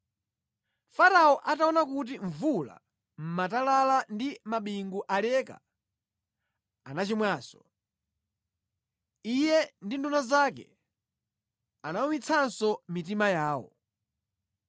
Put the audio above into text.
Farao ataona kuti mvula, matalala ndi mabingu zaleka, anachimwanso. Iye ndi nduna zake anawumitsanso mitima yawo.